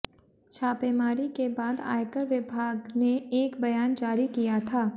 छापेमारी के बाद आयकर विभाग ने एक बयान जारी किया था